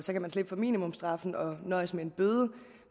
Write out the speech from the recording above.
minimumsstraffen og nøjes med en bøde